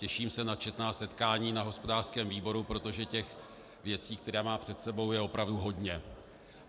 Těším se na četná setkání na hospodářském výboru, protože těch věcí, které má před sebou, je opravdu hodně.